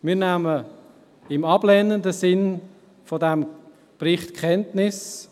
Wir nehmen im ablehnenden Sinn von diesem Bericht Kenntnis.